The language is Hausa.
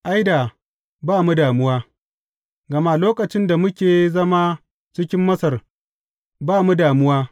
Ai, da ba mu da damuwa, gama lokacin da muke zama cikin Masar ba mu da damuwa!